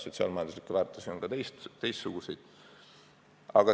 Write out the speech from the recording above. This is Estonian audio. Sotsiaal-majanduslikke väärtusi aga on ka muid.